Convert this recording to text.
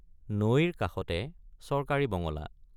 নৈৰ কাষতে চৰকাৰী বঙলা।